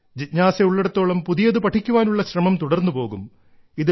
ജിജ്ഞാസയുള്ളിടത്തോളം പുതിയത് പഠിക്കുവാനുള്ള ശ്രമം തുടർന്നുപോകും